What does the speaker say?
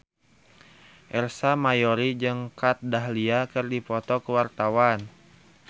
Ersa Mayori jeung Kat Dahlia keur dipoto ku wartawan